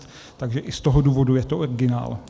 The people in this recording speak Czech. Takže i z toho důvodu je to originál.